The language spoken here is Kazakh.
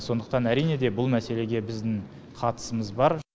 сондықтан әрине де бұл мәселеге біздің қатысымыз бар